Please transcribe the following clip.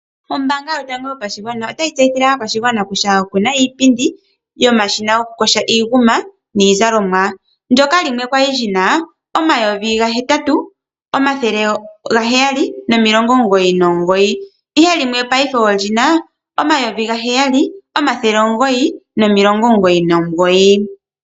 Ombaanga yotango yopashigwana otayi tseyithile aakwashigwana kutya oku na iipindi yomashina goku yoga iinguma niizalomwa, ndyoka limwe kwali lyina omayovi gahetatu, omathele gaheyali nomilongo omugoyi nomugoyi ihe limwe paife olina omayovi gaheyali omathele omugoyi nomilongo omugoyi nomugoyi.